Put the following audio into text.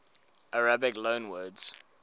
arabic loanwords